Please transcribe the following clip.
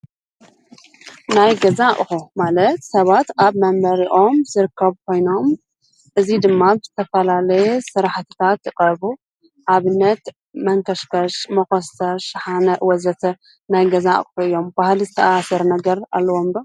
ናይ ገዛ ኣቑሑ ማለት ሰባት ኣብ መንበሪኦም ዝርከቡ ኾይኖም እዙይ ድማ ዝተፈላለየ ስራሕትታት ይቐርቡ፡፡ ንኣብነት መንከሽከሽ፣ መኾስተር፣ ሽሓነ ወዘተ ናይ ገዛ ኣቑሑ እዮም፡፡ ባህሊ ዝተኣሰር ነገር ኣለዎም ዶ?